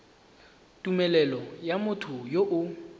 tumelelo ya motho yo o